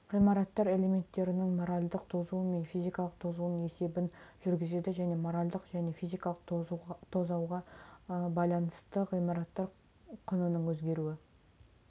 ғимараттар элементтерінің моральдық тозуы мен физикалық тозуының есебін жүргізеді және моральдық және физикалық тозауға байланысты ғимарат құнының өзгеруін